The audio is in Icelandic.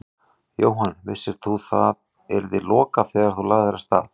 Jóhann: Vissir þú að það yrði lokað þegar þú lagðir af stað?